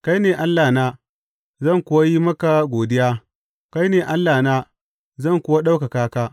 Kai ne Allahna, zan kuwa yi maka godiya; kai ne Allahna, zan kuwa ɗaukaka ka.